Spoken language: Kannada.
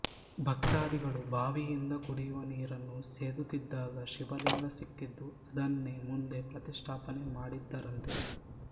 ಭಕ್ತಾದಿಗಳು ಭಾವಿಯಿಂದ ಕುಡಿಯುವ ನೀರನ್ನು ಸೇದುತ್ತಿದ್ದಾಗ ಶಿವಲಿಂಗ ಸಿಕ್ಕಿದ್ದು ಅದನ್ನೇ ಮುಂದೆ ಪ್ರತಿಷ್ಠಾಪನೆ ಮಾಡಿದರಂತೆ